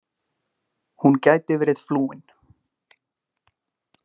Hún gæti verið flúin.